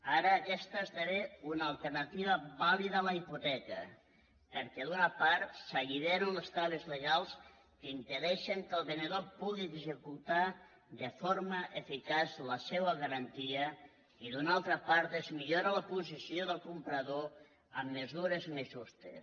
ara aquesta esdevé una alternativa vàlida a la hipoteca perquè d’una part s’alliberen les traves legals que impedeixen que el venedor pugui executar de forma eficaç la seva garantia i d’una altra part es millora la posició del comprador amb mesures més justes